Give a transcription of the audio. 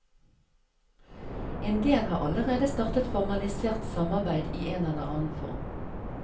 En del har allerede startet formalisert samarbeid i en eller annen form.